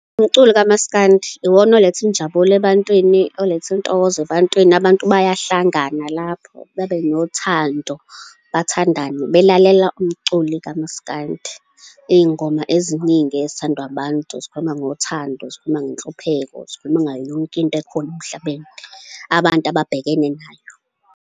Umculo kamaskandi iwona oletha injabulo ebantwini, oletha intokozo ebantwini. Abantu bayahlangana lapho, babe nothando, bathandane, belalela umculi kamaskandi. Iy'ngoma eziningi ezithandwa abantu zikhuluma ngothando, zikhuluma ngenhlupheko, zikhuluma ngayo yonke into ekhona emhlabeni abantu ababhekene nayo.